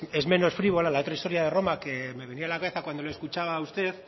es menos frívola a otra historia de roma que me venía a la cabeza cuando le escuchaba a usted